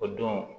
O don